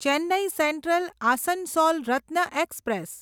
Chennai central Asansol Ratna express